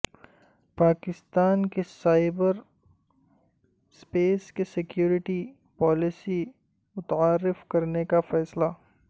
پاکستان کا cyber space security policy متعارف کرانے کا فیصلہ